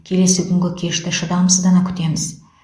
келесі күнгі кешті шыдамсыздана күтеміз